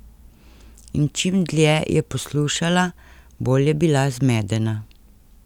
In čim dlje je poslušala, bolj je bila zmedena.